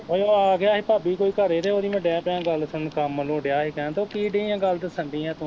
ਓ ਆਗਿਆ ਸੀ ਭਾਬੀ ਕੋਈ ਘਰੇ ਤੇ ਓਹਦੀ ਮੈਂ ਡਹਿ ਪਿਆ ਗੱਲ ਸੁਣਨ, ਕੰਮ ਵੱਲੋਂ ਡਹਿਆ ਸੀ ਕਹਿਣ ਤੇ ਓਹ ਕੀ ਡਈ ਐ ਗੱਲ ਦੱਸਣ ਡਈ ਐ ਤੂੰ